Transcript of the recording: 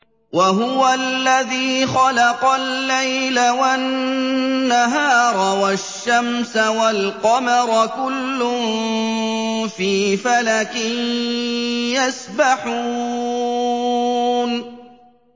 وَهُوَ الَّذِي خَلَقَ اللَّيْلَ وَالنَّهَارَ وَالشَّمْسَ وَالْقَمَرَ ۖ كُلٌّ فِي فَلَكٍ يَسْبَحُونَ